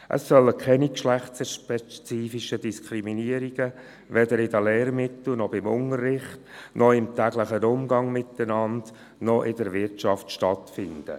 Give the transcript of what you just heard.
Es sollen keine geschlechterspezifischen Diskriminierungen, weder in Lehrmitteln noch beim Unterricht noch im täglichen Umgang miteinander noch in der Wirtschaft stattfinden.